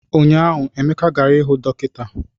Ụnyahụ Emeka gara hụ dọkịta